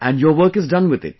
and your work is done with it